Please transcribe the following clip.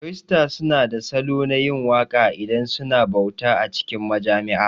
Kirista su na da salo na yin waka idan suna bauta a cikin majami'a